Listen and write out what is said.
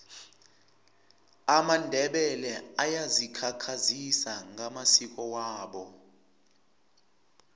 amandebele ayazikhakhazisa ngamasiko wabo